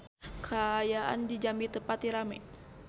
Kaayaan di Jambi teu pati rame